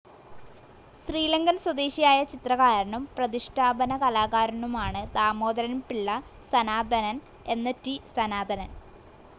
ശ്രീലങ്കൻ സ്വദേശിയായ ചിത്രകാരനും പ്രതിഷ്ടാപന കലാകാരനുമാണ് ദാമോദരന്പിള്ള സനാതനൻ എന്ന റ്റി, സനാതനൻ.